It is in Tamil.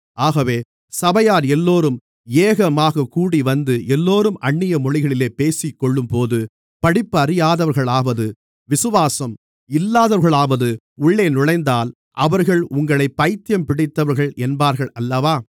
ஆகவே சபையார் எல்லோரும் ஏகமாகக் கூடிவந்து எல்லோரும் அந்நிய மொழிகளிலே பேசிக்கொள்ளும்போது படிப்பறியாதவர்களாவது விசுவாசம் இல்லாதவர்களாவது உள்ளே நுழைந்தால் அவர்கள் உங்களைப் பைத்தியம் பிடித்தவர்கள் என்பார்களல்லவா